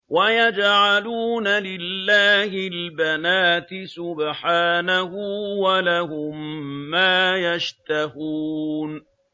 وَيَجْعَلُونَ لِلَّهِ الْبَنَاتِ سُبْحَانَهُ ۙ وَلَهُم مَّا يَشْتَهُونَ